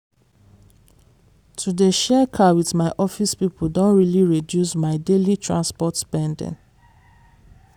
to dey share car with my office people don really reduce my daily transport spending.